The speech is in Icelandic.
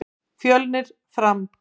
Fjölnir- Fram